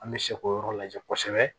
An bɛ se k'o yɔrɔ lajɛ kosɛbɛ